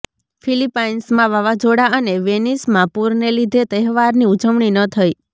ફિલિપાઈન્સમાં વાવાઝોડા અને વેનિસમાં પૂરને લીધે તહેવારની ઉજવણી ન થઈ